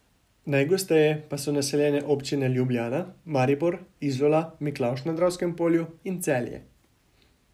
Najgosteje pa so naseljene občine Ljubljana, Maribor, Izola, Miklavž na Dravskem polju in Celje.